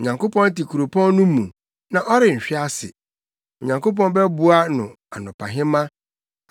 Onyankopɔn te kuropɔn no mu, na ɔrenhwe ase; Onyankopɔn bɛboa no anɔpahema.